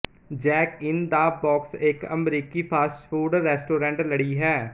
Jack in the Box ਇੱਕ ਅਮਰੀਕੀ fast food restaurant ਲੜੀ ਹੈ